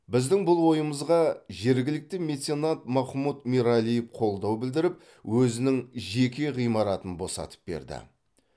біздің бұл ойымызға жергілікті меценат махмут мералиев қолдау білдіріп өзінің жеке ғимаратын босатып берді